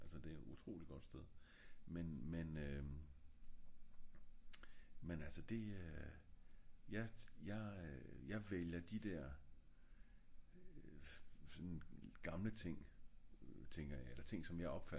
altså det er jo et utroligt godt sted men men øhm men altså det jeg jeg jeg vælger de der gamle ting tænker jeg eller ting jeg opfatter som gamle